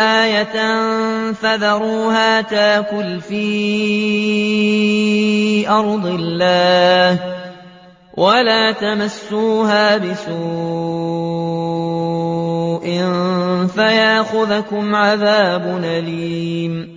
آيَةً ۖ فَذَرُوهَا تَأْكُلْ فِي أَرْضِ اللَّهِ ۖ وَلَا تَمَسُّوهَا بِسُوءٍ فَيَأْخُذَكُمْ عَذَابٌ أَلِيمٌ